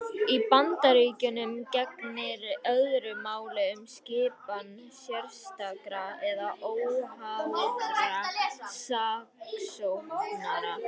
Í Bandaríkjunum gegnir öðru máli um skipan sérstakra eða óháðra saksóknara.